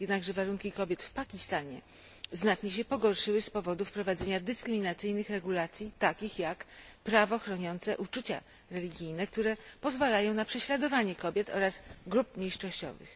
Jednakże warunki kobiet w Pakistanie znacznie się pogorszyły z powodu wprowadzenia dyskryminacyjnych regulacji, takich jak prawo chroniące uczucia religijne, które pozwalają na prześladowanie kobiet oraz grup mniejszościowych.